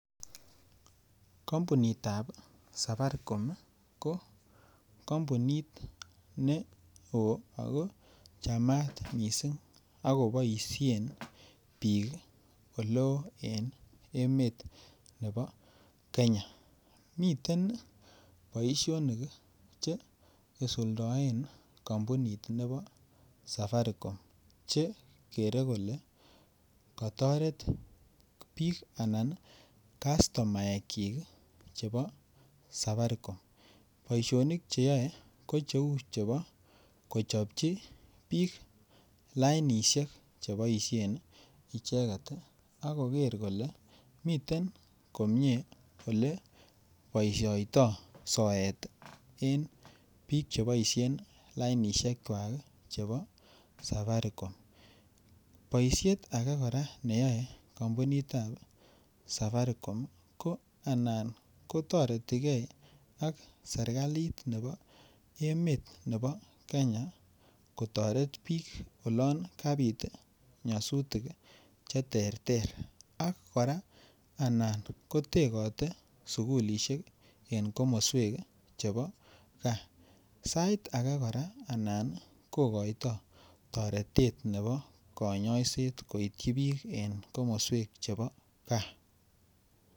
Konpunitab safaricom ko kompunit neo ako chamat mising ako boisien bik oleo en emet nebo Kenya miten boisionik Che isuldoen kampunit nebo safaricom Che kere kole kotoret bik Anan kastomaekyik chebo safaricom boisionik Che yoe ko Cheu chebo kochobchi bik lainisiek cheboisen icheget ii ak koger kole miten komie Ole boisioito soet en Ole mi bik Che boisien lainisiekwak ii chebo safaricom boisiet age kora neyoe kompunit ab safaricom ko anan ko toreti ge ak serkalit nebo emet nebo Kenya kotoret bik olon kabit nyosutik Che terter ak kora anan ko tegote sukulisiek en komoswek chebo gaa sait age kora ko anan kogoito toretet nebo konyoiset koityi bik en komoswek chebo gaa